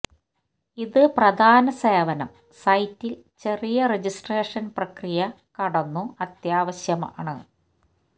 ഇത് പ്രധാന സേവനം സൈറ്റിൽ ചെറിയ രജിസ്ട്രേഷൻ പ്രക്രിയ കടന്നു അത്യാവശ്യമാണ്